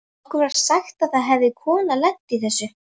Okkur var sagt að það hefði kona lent í þessu.